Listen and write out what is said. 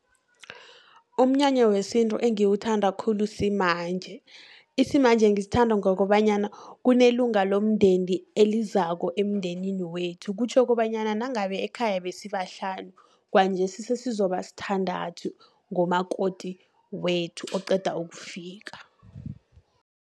Umnyanya wesintu engiwuthanda khulu simanje. Isimanje ngisithanda ngokobanyana, kunelunga lomndeni elizako emndenini wethu. Kutjho kobanyana nangabe ekhaya besibahlanu, kwanjesi sesizokuba sithandathu ngomakoti wethu oqeda ukufika.